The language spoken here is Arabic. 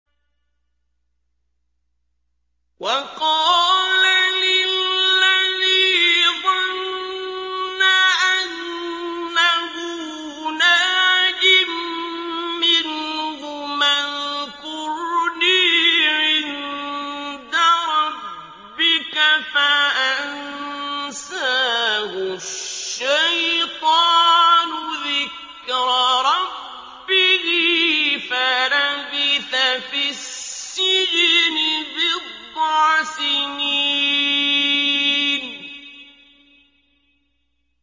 وَقَالَ لِلَّذِي ظَنَّ أَنَّهُ نَاجٍ مِّنْهُمَا اذْكُرْنِي عِندَ رَبِّكَ فَأَنسَاهُ الشَّيْطَانُ ذِكْرَ رَبِّهِ فَلَبِثَ فِي السِّجْنِ بِضْعَ سِنِينَ